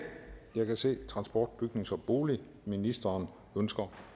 jeg kan se at transport bygnings og boligministeren ønsker